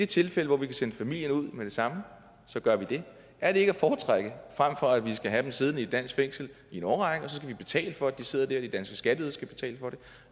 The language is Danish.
tilfælde hvor vi kan sende familien ud med det samme så gør vi det er det ikke at foretrække frem for at vi skal have dem siddende i et dansk fængsel i en årrække og så betale for at de sidder der at de danske skatteydere skal betale for det